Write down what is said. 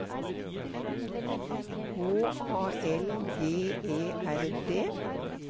H A L G E R D